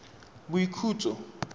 boikhutso